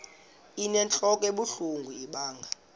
inentlok ebuhlungu ibanga